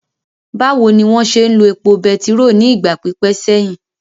Báwo ni wọ́n ṣe ń lo epo bẹtiró ní ìgbà pípẹ́ sẹ́yìn?